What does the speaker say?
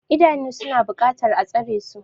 Idanu suna buƙatar a tsare su.